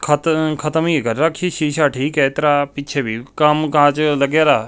ਖਤਮ ਖਤਮ ਹੀ ਕਰ ਰੱਖੀ ਸ਼ੀਸ਼ਾ ਠੀਕ ਆ ਇਸ ਤਰ੍ਹਾਂ ਪਿੱਛੇ ਵੀ ਕਾਮ ਕਾਜ ਲਾਗਈ ਰਿਹਾ--